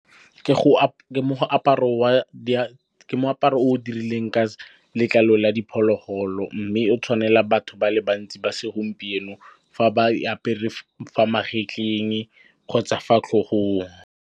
Ke moaparo o dirileng ka letlalo la diphologolo, mme o tshwanela batho ba le bantsi ba segompieno fa ba apere fa magetleng kgotsa fa tlhogong.